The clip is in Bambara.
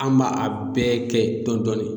An ma a bɛɛ kɛ dɔɔn dɔɔni.